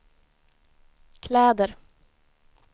kläder